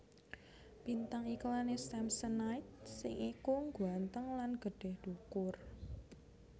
Bintang iklan e Samsonite sing iku ngguanteng lan gedhe dhukur